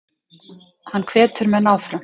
Hann hvetur menn áfram.